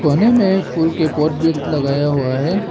कोने में फूल के पॉट भी लगाया हुआ है।